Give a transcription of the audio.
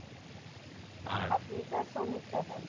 আপনি এটা সনির টা বল